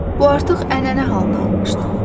Bu artıq ənənə halını almışdı.